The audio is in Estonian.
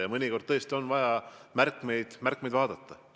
Ja mõnikord tõesti on vaja märkmeid vaadata.